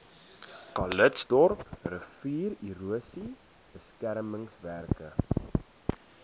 calitzdorp riviererosie beskermingswerke